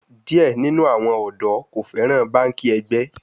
Diẹ ninu awọn ọdọ ko fẹran banki ẹgbẹ